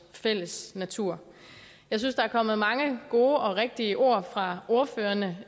fælles natur jeg synes der er kommet mange gode og rigtige ord fra ordførerne